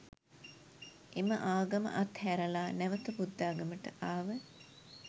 එම ආගම අත් හැරලා නැවත බුද්ධාගමට ආව.